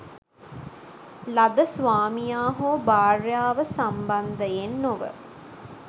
ලද ස්වාමියා හෝ භාර්යාව සම්බන්ධයෙන් නොව